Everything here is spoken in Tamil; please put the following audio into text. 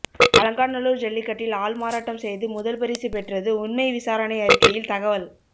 அலங்காநல்லூர் ஜல்லிக்கட்டில் ஆள்மாறாட்டம் செய்து முதல் பரிசு பெற்றது உண்மை விசாரணை அறிக்கையில் தகவல்